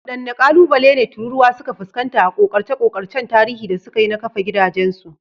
Waɗanne ƙalubale ne tururuwa suka fuskanta a ƙoƙarce-ƙoƙarcen tarihi da suka yi na kafa gidajensu?